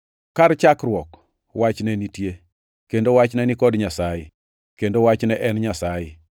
Kar chakruok, Wach ne nitie, kendo Wach ne ni kod Nyasaye, kendo Wach ne en Nyasaye.